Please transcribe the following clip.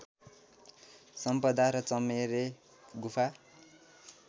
सम्पदा र चमेरे गुफा